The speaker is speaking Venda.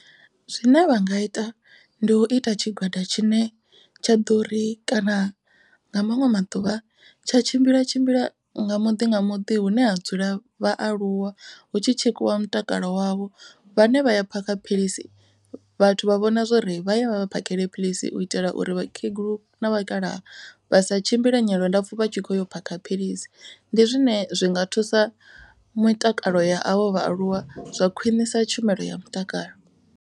Zwine vha nga ita ndi u ita tshigwada tshine tsha ḓo ri kana nga maṅwe maḓuvha tsha tshimbila tshimbila nga muḓi nga muḓi hune ha dzula vhaaluwa. Hu tshi tshekhiwa mutakalo wavho vhane vhaya phakha philisi vhathu vha vhona zwori vha ye vha vha phakhele philisi. U itela uri vhakegulu na vhakalaha vha sa tshimbile nyendo ndapfu vha tshi kho yo phakha philisi. Ndi zwine zwinga thusa mutakalo ya avho vhaaluwa zwa khwinisa tshumelo ya mutakalo.